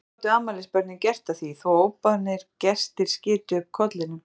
Hvað gátu afmælisbörnin gert að því þó að óboðnir gestir skytu upp kollinum?